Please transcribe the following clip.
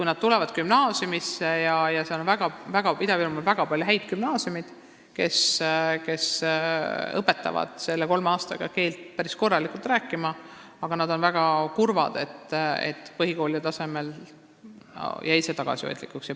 Ida-Virumaal on väga palju häid gümnaasiume, kus õpetatakse kolme aastaga päris korralikult eesti keelt rääkima, aga õpilased on väga kurvad, et põhikoolis jäi keeleõpe tagasihoidlikuks.